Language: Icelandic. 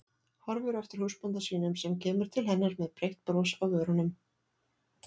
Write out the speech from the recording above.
Horfir á eftir húsbónda sínum sem kemur til hennar með breitt bros á vörunum.